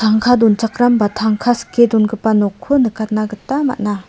tangka donchakram ba tangka sike dongipa nokko nikatna gita man·a.